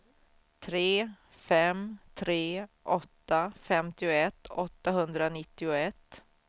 tre fem tre åtta femtioett åttahundranittioett